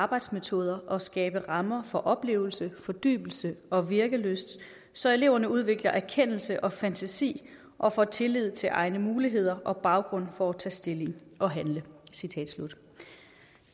arbejdsmetoder og skabe rammer for oplevelse fordybelse og virkelyst så eleverne udvikler erkendelse og fantasi og får tillid til egne muligheder og baggrund for at tage stilling og handle